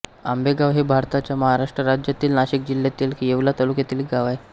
आंबेगाव हे भारताच्या महाराष्ट्र राज्यातील नाशिक जिल्ह्यातील येवला तालुक्यातील एक गाव आहे